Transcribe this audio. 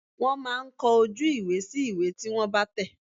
Wọ́n máa ń kọ ojú ìwé sí ìwé tí wọ́n bá tẹ̀.